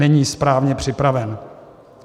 Není správně připraven.